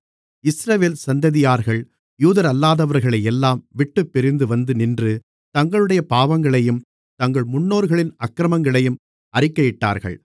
இஸ்ரவேல் சந்ததியார்கள் யூதரல்லாதவர்களை எல்லாம் விட்டுப்பிரிந்து வந்து நின்று தங்களுடைய பாவங்களையும் தங்கள் முன்னோர்களின் அக்கிரமங்களையும் அறிக்கையிட்டார்கள்